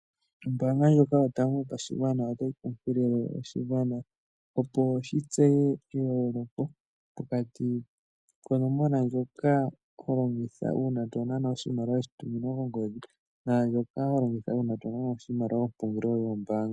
Ombaanga ndjoka yotango yopashigwa otayi kunkilile oshigwana opo shitseye eyooloko pokati konomola ndjoka holongitha uuna tonana oshimaliwa shatuminwa kongodhi naandjoka holongitha uuna tonana oshimaliwa komapungulilo gombaanga.